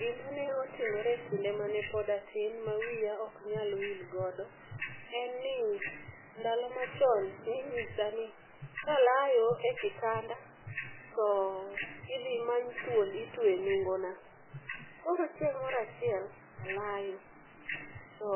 Gimane otimore e kinde mane pod atin ma wiya oknyal wilgodo en ni ndalo machon ninyisa ni kalayo e kitanda to idhi many thuol itwe e nungona. Koro chieng' moro achiel alayo, to